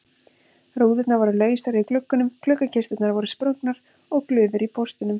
Rúðurnar voru lausar í gluggunum, gluggakisturnar voru sprungnar og glufur í póstunum.